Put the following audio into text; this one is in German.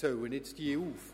Ich zähle diese jetzt auf: